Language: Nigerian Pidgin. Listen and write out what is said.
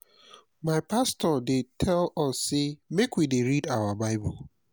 my pastor dey tell us sey make we dey read our bible.